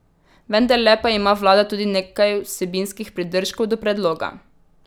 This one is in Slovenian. Vendarle pa ima vlada tudi nekaj vsebinskih pridržkov do predloga.